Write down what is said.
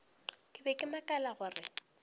ke be ke makala gore